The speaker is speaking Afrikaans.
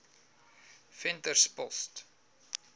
venterspost